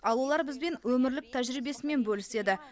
ал олар бізбен өмірлік тәжірибесімен бөліседі